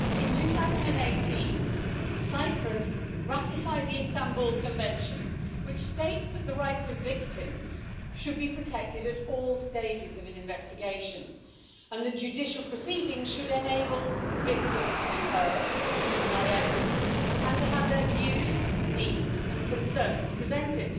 In 2018 Cyprus ratified the Istanbul Convention, which states that the rights of victims should be protected at all stages of an investigation and that judicial proceeding should enable victims to be heard, to supply evidence, and to have their views, needs and concerns presented.